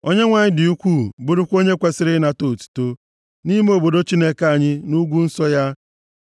Onyenwe anyị dị ukwuu, bụrụkwa onye kwesiri ịnata otuto, nʼime obodo Chineke anyị, nʼugwu nsọ ya.